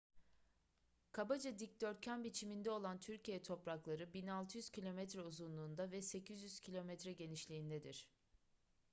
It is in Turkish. kabaca dikdörtgen biçiminde olan türkiye toprakları 1.600 kilometre uzunluğunda ve 800 kilometre genişliğindedir